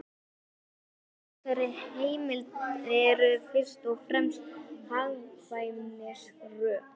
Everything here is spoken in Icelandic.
Rökin fyrir þessari heimild eru fyrst og fremst hagkvæmnisrök.